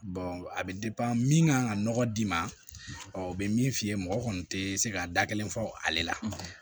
a bɛ min kan ka nɔgɔ d'i ma ɔ o bɛ min f'i ye mɔgɔ kɔni tɛ se ka da kelen fɔ ale la